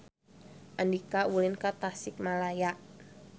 Andika ulin ka Tasikmalaya